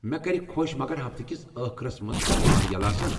مےٚ كرِ خوش، مگر ہفتہٕ كِس ٲخرس منز چھا مال یلہٕ آسان؟